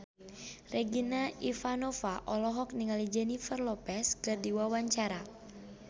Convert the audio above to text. Regina Ivanova olohok ningali Jennifer Lopez keur diwawancara